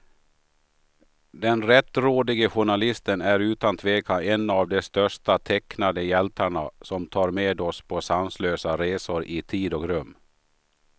Den rättrådige journalisten är utan tvekan en av de största tecknade hjältarna, som tar med oss på sanslösa resor i tid och rum.